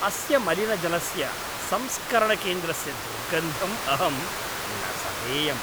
अस्य मलिनजलस्य संस्करणकेन्द्रस्य दुर्गन्धं अहं न सहेयम्।